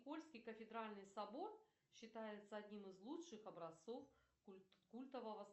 польский кафедральный собор считается одним из лучших образцов культового